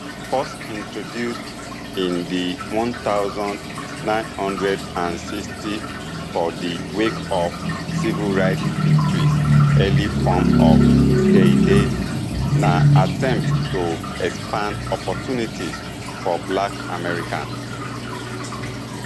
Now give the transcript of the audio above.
first introduced in di one thousand, nine hundred and sixtys for di wake of civil rights victories early forms of dei dei na attempt to expand opportunities for black americans